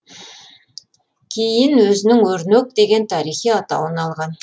кейін өзінің өрнек деген тарихи атауын алған